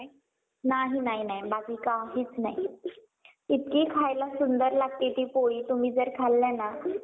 नाही नाही नाही बाकी काहीच नाही. इतकी खायला सुंदर लागते ती पोळी तुम्ही जर खाल्लं ना.